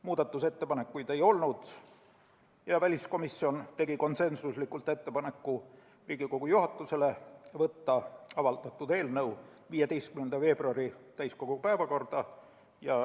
Muudatusettepanekuid ei olnud ja väliskomisjon tegi Riigikogu juhatusele konsensusliku ettepaneku võtta avaldatud eelnõu 15. veebruari täiskogu päevakorda.